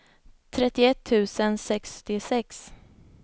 trettioett tusen sextiosex